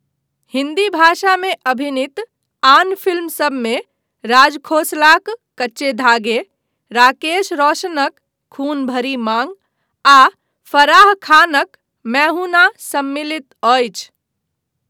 हिन्दी भाषामे अभिनीत आन फिल्म सभमे राज खोसलाक 'कच्चे धागे', राकेश रोशनक 'खून भरी माँग' आ फराह खानक 'मैं हूं ना' सम्मिलित अछि।